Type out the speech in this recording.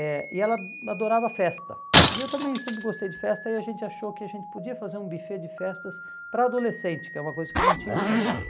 Eh e ela adorava festa, e eu também sempre gostei de festa, e a gente achou que a gente podia fazer um buffet de festas para adolescente, que é uma coisa que não tinha em São Paulo.